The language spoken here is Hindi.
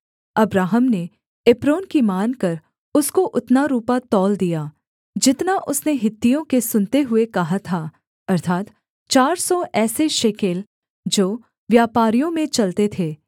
अब्राहम ने एप्रोन की मानकर उसको उतना रूपा तौल दिया जितना उसने हित्तियों के सुनते हुए कहा था अर्थात् चार सौ ऐसे शेकेल जो व्यापारियों में चलते थे